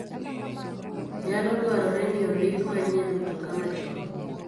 Nyalo dwarore ni ondik manyien mtoka machon.